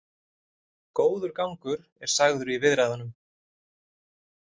Góður gangur er sagður í viðræðunum